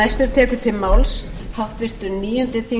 verið þið velkomin í hópinn